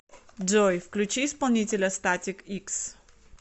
джой включи исполнителя статик икс